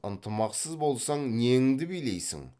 ынтымақсыз болсаң неңді билейсің